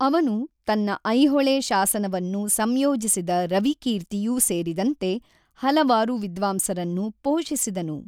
ಅವನು ತನ್ನ ಐಹೊಳೆ ಶಾಸನವನ್ನು ಸಂಯೋಜಿಸಿದ ರವಿಕೀರ್ತಿಯೂ ಸೇರಿದಂತೆ ಹಲವಾರು ವಿದ್ವಾಂಸರನ್ನು ಪೋಷಿಸಿದನು.